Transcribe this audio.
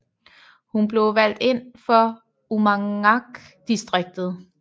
Hun blev valgt ind for Uummannaq distriktet